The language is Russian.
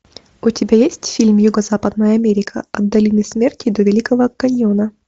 у тебя есть фильм юго западная америка от долины смерти до великого каньона